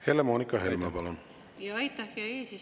Helle-Moonika Helme, palun!